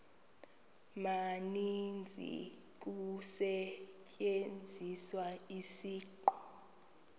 maninzi kusetyenziswa isiqu